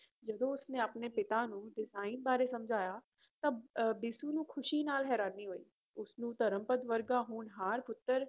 ਜਦੋਂ ਉਸਨੇ ਆਪਣੇ ਪਿਤਾ ਨੂੰ design ਬਾਰੇ ਸਮਝਾਇਆ ਤਾਂ ਅਹ ਬਿਸੂ ਨੂੰ ਖ਼ੁਸ਼ੀ ਨਾਲ ਹੈਰਾਨੀ ਹੋਈ, ਉਸਨੂੰ ਧਰਮਪਦ ਵਰਗਾ ਹੋਣਹਾਰ ਪੁੱਤਰ